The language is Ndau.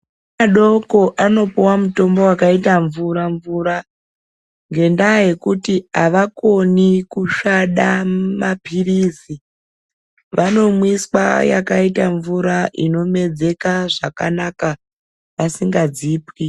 Ana adoko anopuwa mutombo wakaita mvura mvura ngendaa yekuti avakoni kusvada mapirizi. Vanomwiswa yakaita mvura inomedzeka zvakanaka vasingadzipwi.